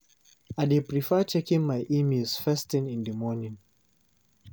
I dey prefer checking my emails first thing in the morning.